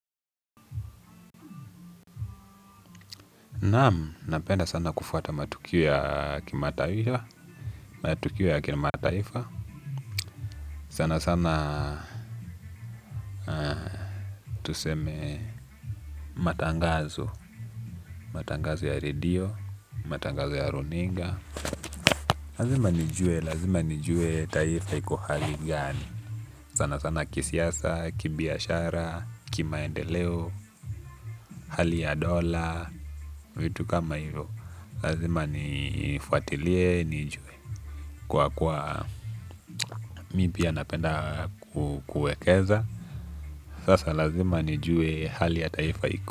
Naam, napenda sana kufuata matukio ya kimataifa, matukio ya kimataifa, sana sana tuseme matangazo, matangazo ya redio, matangazo ya runinga. Lazima nijue taifa iko hali gani sana sana kisiasa kibiashara kimaendeleo hali ya dola vitu kama hivyo lazima nifuatilie nijue. Kwa kwa mipia napenda kukuekeza. Sasa lazima nijue hali ya taifa iko.